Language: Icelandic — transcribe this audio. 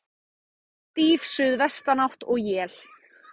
Stíf suðvestanátt og él